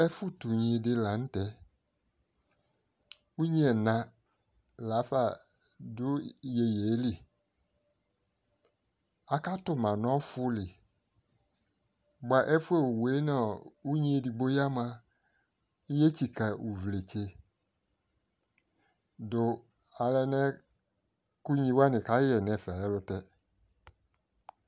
ɛƒʋ tʋ ʋnyi di lantɛ, ʋnyi ɛna laƒa dʋ yɛyɛ li, akatʋma nʋ ɔƒʋli bʋa ɛƒʋɛ ɔwʋɛ nʋ ʋnyi ɛdigbɔɛ yamʋa ɔyɛ tsika ʋvlɛtsè dʋ alɛnɛ kʋ ʋnyi wani kayɛ nʋ ɛƒɛ ɛlʋtɛ